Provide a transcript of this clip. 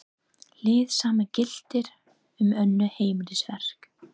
Hið sama gildir um önnur heimilisverk.